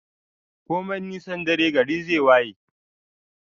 Komai nisan dare gari zai waye